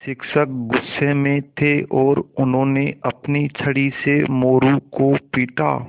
शिक्षक गुस्से में थे और उन्होंने अपनी छड़ी से मोरू को पीटा